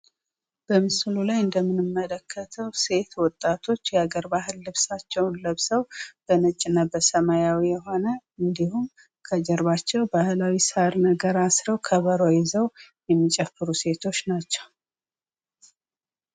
በምስሉ ላይ እንደምንመለከተው ሴት ወጣቶች የአገር ባህል ልብስ ለብሰው (ነጭ እና ሰማያዊ ቀለም ያለው) እንዲሁም ባህላዊ ሳር ከጀርባቸው አስረው፣ ከበሮ ይዘው የሚጨፍሩ ሴቶች ናቸው።